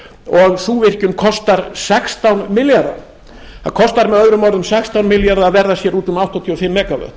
og sú virkjun kostar sextán milljarða það kostar með öðrum orðum sextán milljarða að verða sér úti um áttatíu og fimm megavött